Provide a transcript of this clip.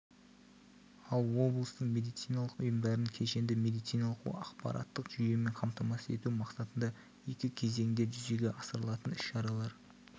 ал облыстың медициналық ұйымдарын кешенді медициналық ақпараттық жүйемен қамтамасыз ету мақсатында екі кезеңде жүзеге асырылатын іс-шаралар